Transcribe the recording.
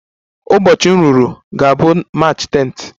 Ụbọchị m ruru ga-abụ March 10th